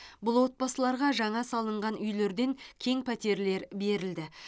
бұл отбасыларға жаңа салынған үйлерден кең пәтерлер берілді